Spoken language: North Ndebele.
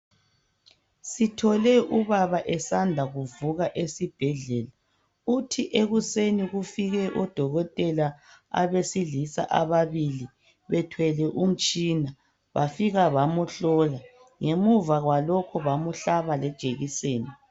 Sifike ubaba esanda kuvuka esibhedlela, uthe ekuseni kufike odokotela abesilisa ababili bethwele umtshina. Bafika bamhlola. Ngemuva kwalokho bamhlaba iekiseni.